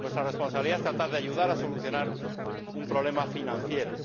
nuestra responsabilidad es tratar de ayudar a solucionar un problema financiero.